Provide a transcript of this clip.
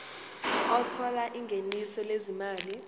othola ingeniso lezimali